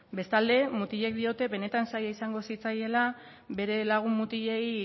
bestalde mutilek diote benetan zaila izango zitzaiela bere lagun mutilei